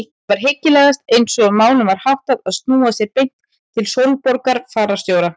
Það var hyggilegast eins og málum var háttað að snúa sér beint til Sólborgar fararstjóra.